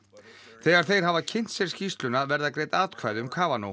þegar þeir hafa kynnt sér skýrsluna verða greidd atkvæði um